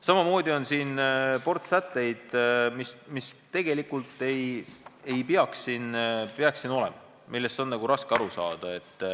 Samamoodi on siin veel ports sätteid, mida tegelikult ei peaks siin olema, neist on raske aru saada.